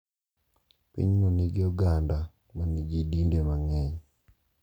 Pinyno nigi oganda manigi dinde mang’eny,